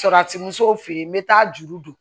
Salati musow fe yen n be taa juru don